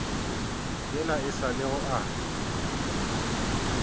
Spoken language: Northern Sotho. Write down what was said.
yela e sa lego a